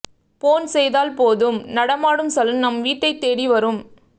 phone செய்தால் போதும் நடமாடும் சலூன் நம் வீட்டைத் தேடி வரும்